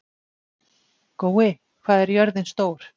Gói, hvað er jörðin stór?